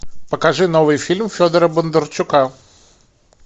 покажи новый фильм федора бондарчука